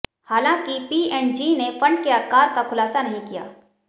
हालांकि पीऐंडजी ने फंड के आकार का खुलासा नहीं किया